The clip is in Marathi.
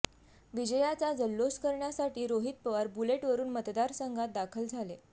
विजयाचा जल्लोष करण्यासाठी रोहित पवार बुलेटवरुन मतदारसंघात दाखल झाले